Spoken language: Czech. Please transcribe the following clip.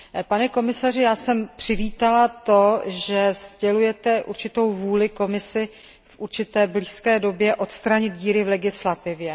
Pane komisaři, já jsem přivítala, že sdělujete určitou vůli Komise v relativně blízké době odstranit díry v legislativě.